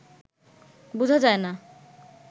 বুঝা যায় না